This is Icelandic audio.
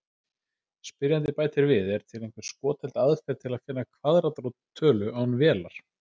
Spyrjandi bætir við: Er til einhver skotheld aðferð til að finna kvaðratrót tölu án vélar?